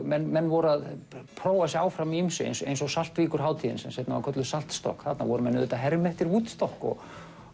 menn menn voru að prófa sig áfram í ýmsu eins eins og Saltvíkurhátíðin sem seinna var kölluð þarna voru menn að herma eftir Woodstock og